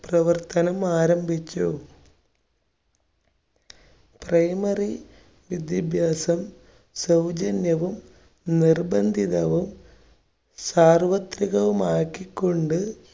പ്രവർത്തനം ആരംഭിച്ചു. primary വിദ്യാഭ്യാസം സൗജന്യവും, നിർബന്ധിതവും, സാർവ്വത്രികവും ആക്കികൊണ്ട്